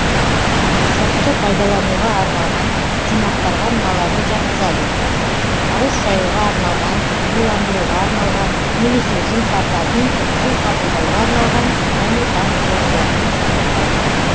сыртқы пайдалануға арналған жинақтарға мыналарды жатқызады ауыз шаюға арналған буландыруға арналған немесе жұмсартатын су қабылдауға арналған және тағы сол сияқты жинақтар